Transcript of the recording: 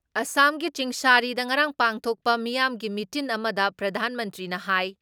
ꯑꯁꯥꯝꯒꯤ ꯆꯤꯡꯁꯥꯔꯤꯗ ꯉꯔꯥꯡ ꯄꯥꯡꯊꯣꯛꯄ ꯃꯤꯌꯥꯝꯒꯤ ꯃꯤꯇꯤꯟ ꯑꯃꯗ ꯄ꯭ꯔꯙꯥꯟ ꯃꯟꯇ꯭ꯔꯤꯅ ꯍꯥꯏ